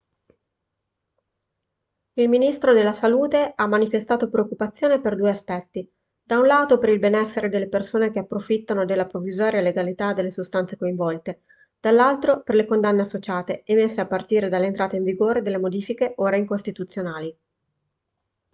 il ministro della salute ha manifestato preoccupazione per due aspetti da un lato per il benessere delle persone che approfittano della provvisoria legalità delle sostanze coinvolte dall'altro per le condanne associate emesse a partire dall'entrata in vigore delle modifiche ora incostituzionali